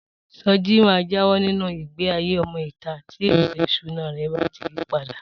Soji máa jáwọ́ nínu ìgbéayé ọmọ ìta tí ètò ìṣúná rè bá ti yípadà